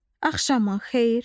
Axşamın xeyir.